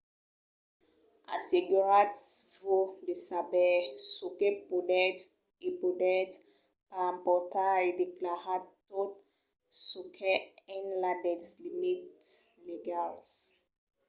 asseguratz-vos de saber çò que podètz e podètz pas emportar e declaratz tot çò qu'es enlà dels limits legals